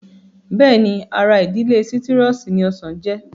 Bẹ́ẹ̀ni ara ìdílé sítírọ́ọ̀sì ni ọsàn jẹ́